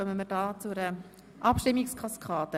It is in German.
Wir kommen zu einer Abstimmungskaskade.